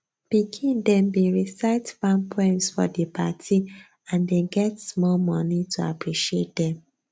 pikin dem bin recite farm poems for di party and dem get small money to appreciate dem